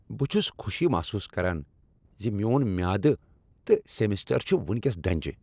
بہٕ چھس خوشی محسوس کران ز میون میادٕ تہٕ سیمسٹر چھ وُنکیس ڈنجہ۔